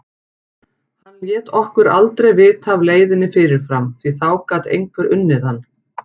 Hann lét okkur aldrei vita af leiðinni fyrirfram, því þá gat einhver unnið hann!